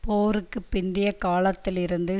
போருக்கு பிந்தைய காலத்தில் இருந்த